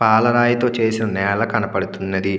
పాల రాయి తో చేసిన నేల కనబడుతున్నది.